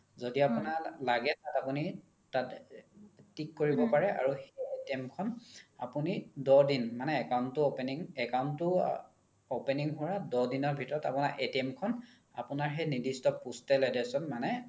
য্দি আপোনাক লাগে তাত আপোনি তাত tick কৰিব পাৰে আৰু সেই খন আপোনি দহ দিন মানে account তো opening, account তো opening হুৱাৰ দহ দিনৰ ভিতৰত আপোনাৰ খন আপোনাৰ সেই নিৰ্ধিস্ত postal address ত মানে